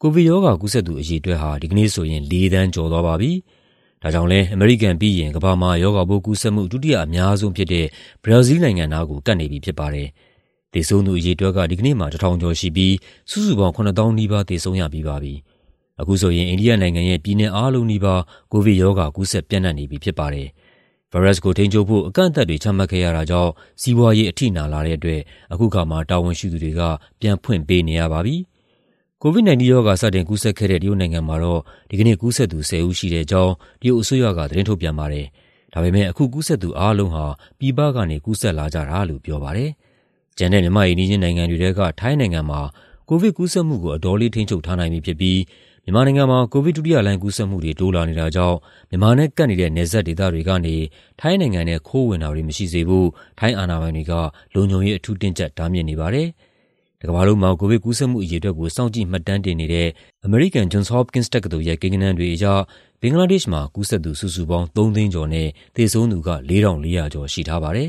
ကိုဗစ်ရောဂါ ကူးစက်သူ အရေအတွက်ဟာ ဒီကနေ့ဆိုရင် ၄ သန်းကျော်သွားပါပြီ။ ဒါကြောင့်လည်း အမေရိကန်ပြီးရင် ကမ္ဘာမှာ ရောဂါပိုးကူးစက်မှု ဒုတိယအများဆုံးဖြစ်တဲ့ ဘရာဇီးလ်နိုင်ငံနားကို ကပ်နေပြီဖြစ်ပါတယ်။ သေဆုံးသူအရေအတွက်က ဒီကနေ့မှာ ၁,၀၈၉ ဦးရှိပြီး စုစုပေါင်း ၆၉,၅၆၁ ဦး သေဆုံးရပြီးပါပြီ။ အခုဆိုရင် အိန္ဒိယနိုင်ငံရဲ့ ပြည်နယ်အားလုံးနီးပါး ကိုဗစ်ရောဂါ ကူးစက်ပျံ့နှံ့နေပြီ ဖြစ်ပါတယ်။ ဗိုင်းရပ်စ်ကိုထိန်းချုပ်ဖို့ အကန့်အသတ်တွေ ချမှတ်ခဲ့ရတာကြောင့် စီးပွားရေး အထိနာလာတဲ့အတွက် အခုအခါမှာ တာဝန်ရှိသူတွေက ပြန်ဖွင့်ပေးနေရပါပြီ။ COVID-19 ရောဂါ စတင်ကူးစက်ခဲ့တဲ့ တရုတ်နိုင်ငံမှာတော့ ဒီကနေ့ ကူးစက်သူ ၁၀ ဦးရှိတဲ့အကြောင်း တရုတ်အစိုးရက သတင်းထုတ်ပြန်ပါတယ်။ ဒါပေမယ့် အခုကူးစက်သူ အားလုံးဟာ ပြည်ပကနေ ကူးစက်လာကြတာလို့ ပြောပါတယ်။ ကျန်တဲ့ မြန်မာ့အိမ်နီးချင်းနိုင်ငံတွေထဲက ထိုင်းနိုင်ငံမှာ ကိုဗစ်ကူးစက်မှုကို အတော်လေး ထိန်းချုပ်ထားနိုင်ပြီဖြစ်ပြီး မြန်မာနိုင်ငံမှာ ကိုဗစ်ဒုတိယလှိုင်း ကူးစက်မှုတွေ တိုးလာနေတာကြောင့် မြန်မာနဲ့ကပ်နေတဲ့ နယ်စပ်ဒေသတွေကနေ ထိုင်းနိုင်ငံထဲ ခိုးဝင်တာတွေ မရှိစေဖို့ ထိုင်းအာဏာပိုင်တွေက လုံခြုံရေး အထူးတင်းကျပ် တားမြစ်နေပါတယ်။ တကမ္ဘာလုံးမှာ ကိုဗစ်ကူးစက်မှု အရေအတွက်ကို စောင့်ကြည့် မှတ်တမ်းတင်နေတဲ့ အမေရိကန် Johns Hopkins တက္ကသိုလ်ရဲ့ ကိန်းဂဏန်းတွေအရ ဘင်္ဂလားဒေ့ရှ်နိုင်ငံမှာ ကူးစက်သူစုစုပေါင်း ၃ သိန်းကျော်နဲ့ သေဆုံးသူက ၄,၄၀၀ ကျော် ရှိထားပါတယ်